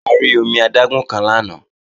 A rí omi adágún kan lánàá